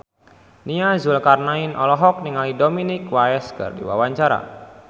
Nia Zulkarnaen olohok ningali Dominic West keur diwawancara